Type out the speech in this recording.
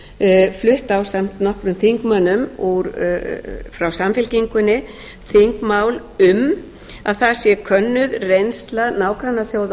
er kunnugt flutt ásamt nokkrum þingmönnum frá samfylkingunni þingmál um að það sé könnuð reynsla nágrannaþjóða